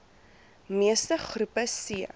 meeste groepe c